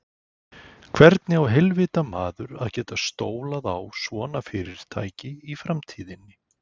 Hvernig á heilvita maður að geta stólað á svona fyrirtæki í framtíðinni?